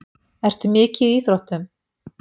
Ertu mikið í íþróttum?